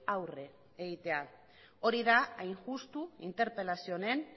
aurre egitea hori da hain justu interpelazio honen